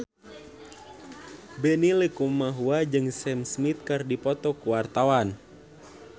Benny Likumahua jeung Sam Smith keur dipoto ku wartawan